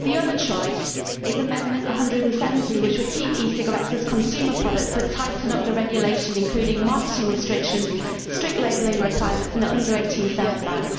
The other choice is Amendment 170, which would keep e cigarettes as consumer products but tighten up the regulation to include marketing restrictions, strict labelling requirements and an under 18 sales ban.